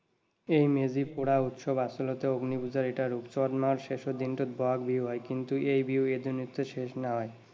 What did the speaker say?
এই মেজি পুৰা উৎসৱ আচলতে অগ্নি পুজাৰ এটা ৰূপ। চত মাহৰ শেষৰ দিনটোত বহাগ বিহু হয়, কিন্তু এই বিহু এদিনতেই শেষ নহয়।